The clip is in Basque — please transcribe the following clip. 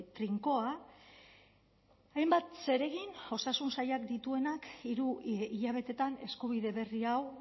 trinkoa hainbat zeregin osasun sailak dituenak hiru hilabetetan eskubide berri hau